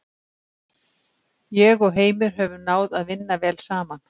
Ég og Heimir höfum náð að vinna vel saman.